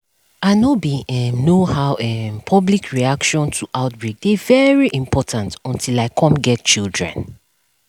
i know bin um know how um public um reaction to outbreak dey very important until i cum get children